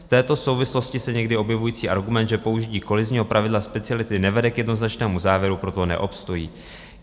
V této souvislosti někdy se objevující argument, že použití kolizního pravidla speciality nevede k jednoznačnému závěru, proto neobstojí.